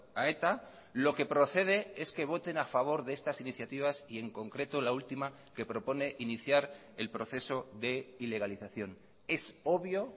a eta lo que procede es que voten a favor de estas iniciativas y en concreto la última que propone iniciar el proceso de ilegalización es obvio